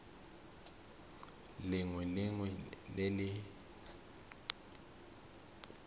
lengwe le lengwe le le